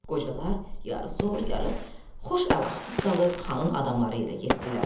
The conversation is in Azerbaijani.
Qocalar yarı zor, yarı xoş əlacısız qalıb xanın adamları ilə getdilər.